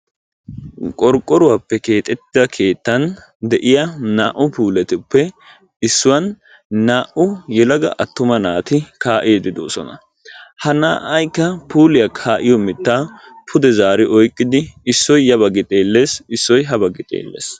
qorqqoruwappe keexettida nde'iya aa'u puuletuppe issuwan naa'u naati kaa'iidi de'oosona. etappekka issoy puuliya mitaa sitti ootidi de'ees.